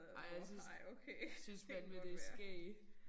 Ej jeg synes synes fandeme det skægt